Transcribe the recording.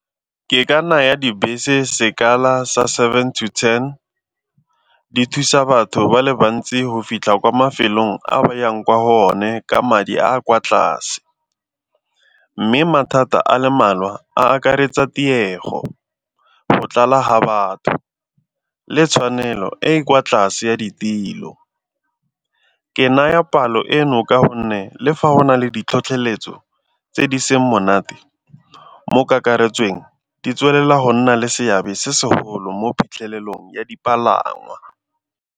Ke ka naya dibese sekala sa seven to ten, di thusa batho ba le bantsi go fitlha kwa mafelong a ba yang kwa go one ka madi a kwa tlase. Mme mathata a le mmalwa a akaretsa tiego, go tlala ga batho le tshwanelo e e kwa tlase ya ditilo. Ke naya palo eno ka gonne le fa go na le ditlhotlheletso tse di seng monate mo kakaretsweng di tswelela go nna le seabe se segolo mo phitlhelelong ya dipalangwa.